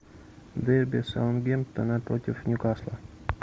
дерби саутгемптона против ньюкасла